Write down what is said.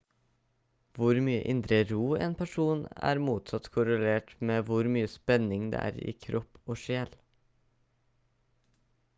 hvor mye indre ro en person er motsatt korrelert med hvor mye spenning det er i kropp og sjel